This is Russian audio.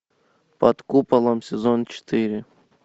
под куполом сезон четыре